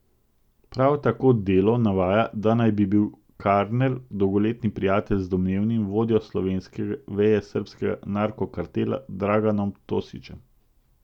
Prav tako Delo navaja, da naj bi bil Karner dolgoletni prijatelj z domnevnim vodjo slovenske veje srbskega narkokartela Draganom Tošićem.